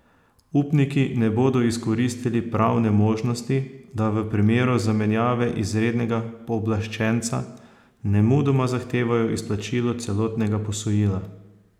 Upniki ne bodo izkoristili pravne možnosti, da v primeru zamenjave izrednega pooblaščenca nemudoma zahtevajo izplačilo celotnega posojila.